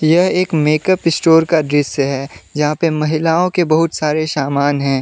यह एक makeup store का दृश्य है यहां पे महिलाओं के बहुत सारे सामान है।